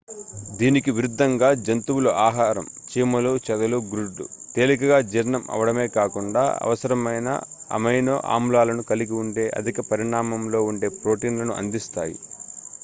దీనికి విరుద్ధంగా జంతువుల ఆహారం చీమలు చెదలు గ్రుడ్లు తేలికగా జీర్ణం అవ్వడమే కాకుండా అవసరమైన అమైనో ఆమ్లాలను కలిగి ఉండే అధిక పరిమాణంలో ఉండే ప్రోటీన్లను అందిస్తాయి